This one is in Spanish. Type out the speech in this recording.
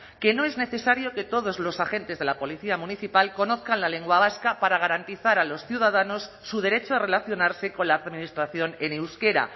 que no es necesario que todos los agentes de la policía municipal conozcan la lengua vasca para garantizar a los ciudadanos su derecho a relacionarse con la administración en euskera